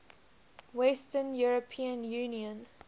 western european union